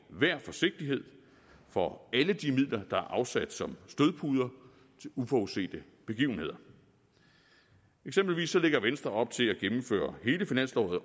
enhver forsigtighed for alle de midler der er afsat som stødpuder til uforudsete begivenheder eksempelvis lægger venstre op til at gennemføre hele finansåret